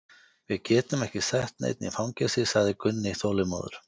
Við getum ekki sett neinn í fangelsi, sagði Gunni þolinmóður.